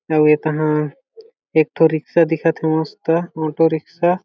अउ ये तहा एक ठो रिक्सा दिखत हे मस्त ऑटो रिक्सा --